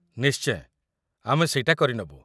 ନିଶ୍ଚୟ, ଆମେ ସେଇଟା କରିନବୁ ।